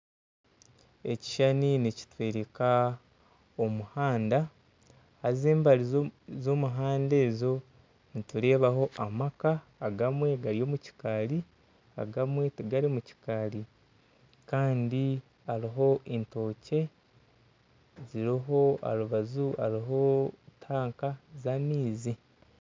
Ekishushani nikitworeka omuhanda haza embaju z'omuhanda ogwo nitureebaho amaka agamwe gari omu kikaari agamwe tagari mukikaari kandi hariho etookye ziriho aha rubaju hariho tanka z'amaizi.